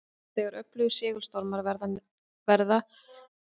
Þegar öflugir segulstormar verða sjást norðurljós nær miðbaug en venjulega.